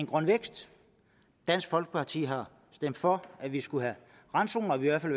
grøn vækst dansk folkeparti har stemt for at vi skulle have randzoner vi har